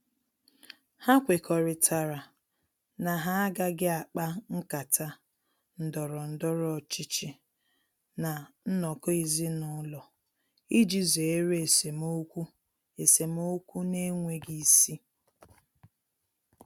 Ha kwekọrịtara na ha agaghị akpa nkata ndọrọ ndọrọ ọchịchị ná nnọkọ ezinụlọ iji zere esemokwu esemokwu na-enweghi isi.